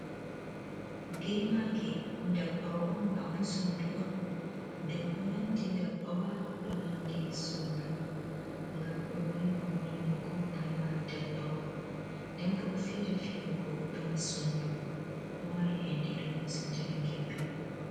Gemage dabbawa on ma bo sondu on. Dum do nandi dabbawa do nandi sondu. Gam do rima on rimugo bana dabbawa. Nden bo do fira firugo bana sondu. do mari ende dum musinta bengel be man.